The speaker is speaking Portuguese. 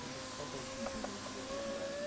Conta só para a gente entender um pouco daquela época.